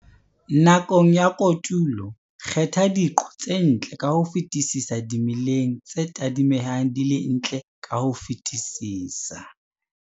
Nakong ya kotulo, kgetha diqo tse ntle ka ho fetisisa dimeleng tse tadimehang di le ntle ka ho fetisisa.